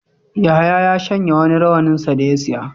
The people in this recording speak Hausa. Yahaya ya shanya wani rawaninsa da ya saya.